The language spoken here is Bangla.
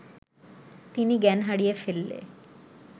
তিনি জ্ঞান হারিয়ে ফেললে